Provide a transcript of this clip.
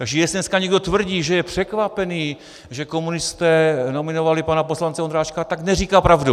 Takže jestli dneska někdo tvrdí, že je překvapený, že komunisté nominovali pana poslance Ondráčka, tak neříká pravdu.